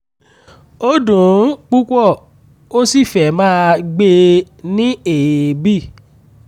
ó dùn ún púpọ̀ ó sì fẹ́ máa gbé e ní èébì